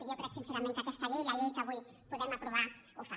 i jo crec sincerament que aquesta llei la llei que avui podem aprovar ho fa